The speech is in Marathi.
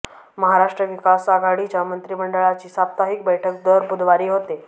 महाराष्ट्र विकास आघाडीच्या मंत्रिमंडळाची साप्ताहिक बैठक दर बुधवारी होते